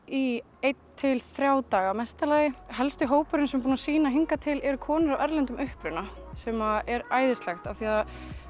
í einn til þrjá daga í mesta lagi og helsti hópurinn sem er búinn að sýna hingað til eru konur af erlendum uppruna sem er æðislegt af því að